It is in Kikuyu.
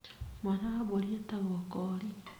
Mwana wa mbũri etagwo koori.